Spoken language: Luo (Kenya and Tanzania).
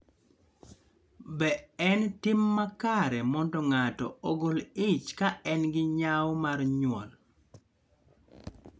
Be en tim makare mondo ng�ato ogol ich ka en gi nyao mar nyuol?